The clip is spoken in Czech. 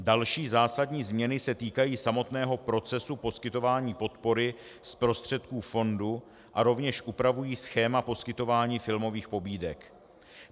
Další zásadní změny se týkají samotného procesu poskytování podpory z prostředků fondu a rovněž upravují schéma poskytování filmových pobídek.